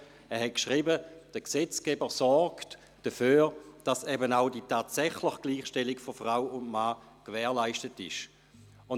Er hat geschrieben, der Gesetzgeber sorge dafür, dass auch die tatsächliche Gleichstellung von Frau und Mann gewährleistet sei.